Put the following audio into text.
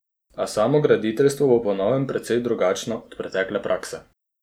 A samograditeljstvo bo po novem precej drugačno od pretekle prakse.